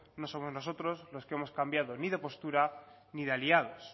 no somos nosotros los que hemos cambiado ni de postura ni de aliados